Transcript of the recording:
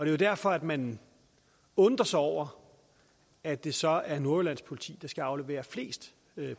jo derfor at man undrer sig over at det så er nordjyllands politi der skal aflevere flest